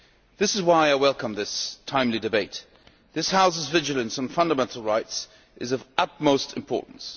This is why I welcome this timely debate. This House's vigilance on fundamental rights is of utmost importance.